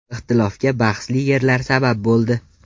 Ixtilofga bahsli yerlar sabab bo‘ldi.